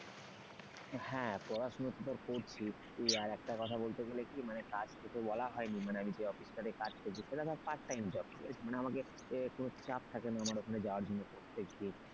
হ্যাঁ পড়াশোনা তো ধর করছি আর একটা কথা বলতে গেলে কি মানে কাজ তোকে বলা হয়নি মানে আমি যে অফিসটা তে কাজ করছি সেটা আমার part time job না আমাকে কোন চাপ থাকেনা আমার ওখানে যাওয়ার জন্য প্রত্যেকদিন।